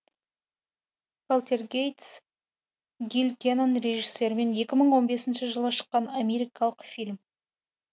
полтергейст гил кенан режисерімен екі мың он бесінші жылы шыққан америкалық фильм